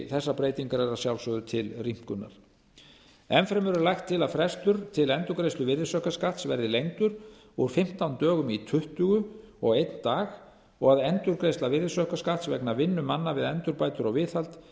þessar breytingar eru að sjálfsögðu til rýmkunar enn fremur er lagt til að frestur til endurgreiðslu virðisaukaskatts verði lengdur úr fimmtán dögum í tuttugu og einn dag og að endurgreiðsla virðisaukaskatts vegna vinnu manna við endurbætur og viðhald